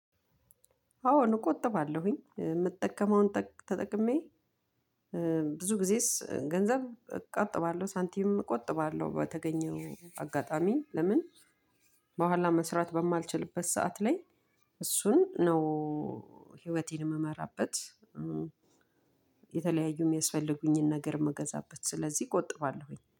አዎን እቆጥባለሁኝ የምጠቀመውን ተጠቅሜ ብዙ ጊዜስ ገንዘብ እቆጥባለሁ ሳንቲም እቆጥባለሁ በተገኘው አጋጣሚ ለምን በኋላ መስራት በማልችልበት ሰዓት ላይ እሱን ነው ህይወቴን የምመራበት የተለያዩ የሚያስፈልጉኝን ነገር ምገዛበት ስለዚህ እቆጥባለሁኝ።